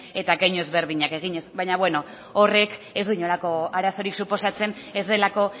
eta keinu ezberdinak eginez baina beno horrek ez du inolako arazorik suposatzen ez delako